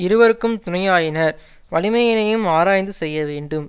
இருவர்க்கும் துணையாயினர் வலிமையினையும் ஆராய்ந்து செய்ய வேண்டும்